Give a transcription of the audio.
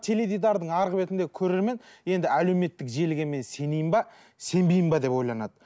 теледидардың арғы бетіндегі көрермен енді әлеуметтік желіге мен сенейін бе сенбейін бе деп ойланады